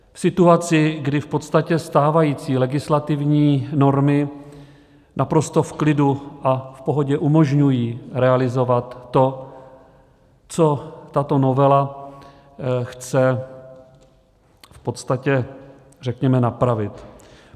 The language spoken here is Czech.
V situaci, kdy v podstatě stávající legislativní normy naprosto v klidu a v pohodě umožňují realizovat to, co tato novela chce v podstatě, řekněme, napravit.